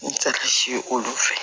olu fɛ